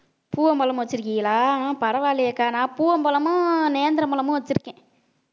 பூவம்பழம் வச்சிருக்கீங்களா பரவாயில்லையேக்கா நான் பூவம் பழமும் நேந்திரம் பழமும் வச்சிருக்கேன்